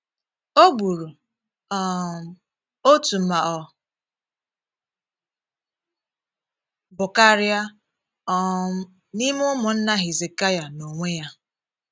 O gburu um otu ma ọ bụ karịa um n’ime ụmụnna Hizikaịa n’onwe ya.